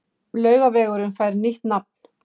Laugavegurinn fær nýtt nafn